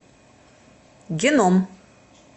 геном